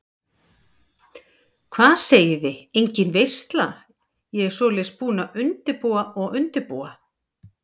Hvað segiði, engin veisla, ég svoleiðis búin að undirbúa og undirbúa.